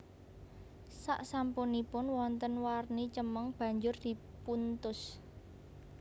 Saksampunipun wonten warni cemeng banjur dipuntus